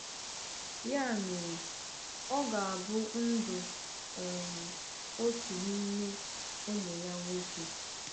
Ya mere, ọ ga-abụ ndụ um otu n’ime ụmụ ya nwoke.